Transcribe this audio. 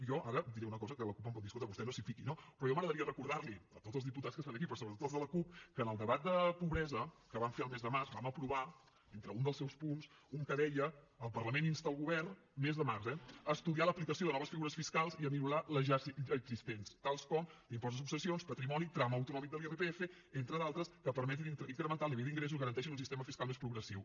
jo ara diré una cosa que la cup em pot dir escolti vostè no s’hi fiqui no però a mi m’agradaria recordar a tots els diputats que estan aquí però sobretot als de la cup que en el debat de pobresa que vam fer el mes de març vam aprovar entre un dels seus punts un que deia el parlament insta el govern mes de març eh a estudiar l’aplicació de noves figures fiscals i a millorar les ja existents tals com l’impost de successions patrimoni tram autonòmic de l’irpf entre d’altres que permetin incrementar el nivell d’ingressos i garanteixin un sistema fiscal més progressiu